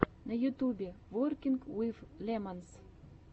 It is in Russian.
на ютубе воркинг уив лемонс